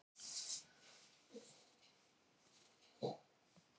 Konan býr í Reykjavík. Vinur hennar býr á Akureyri.